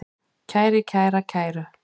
kæri, kæra, kæru